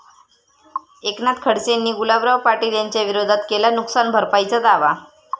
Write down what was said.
एकनाथ खडसेंनी गुलाबराव पाटील यांच्याविरोधात केला नुकसान भरपाईचा दावा